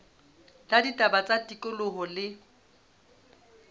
la ditaba tsa tikoloho le